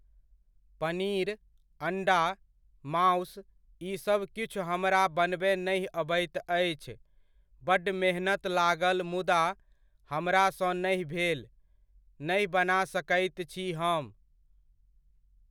पनीर, अण्डा, मासु ईसभ किछु हमरा बनबय नहि अबैत अछि, बड्ड मेहनत लागल मुदा हमरा सँ नहि भेल, नहि बना सकैत छी हम।